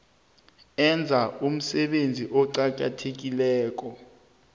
enza umsebenzi oqakatheke